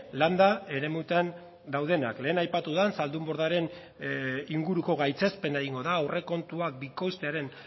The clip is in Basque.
landa eremutan daudenak lehen aipatu den zaldunbordaren inguruko gaitzespena egingo da aurrekontuak bikoiztearen